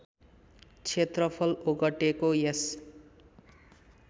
क्षेत्रफल ओगटेको यस